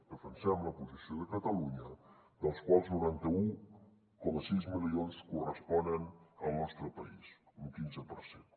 defensem la posició de catalunya dels quals noranta un coma sis milions corresponen al nostre país un quinze per cent